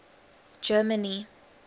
germany